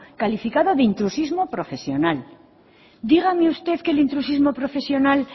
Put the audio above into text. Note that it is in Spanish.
calificado de intrusismo profesional dígame usted que el intrusismo profesional